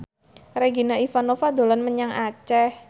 Regina Ivanova dolan menyang Aceh